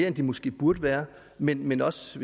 end de måske burde være men men også